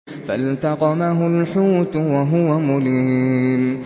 فَالْتَقَمَهُ الْحُوتُ وَهُوَ مُلِيمٌ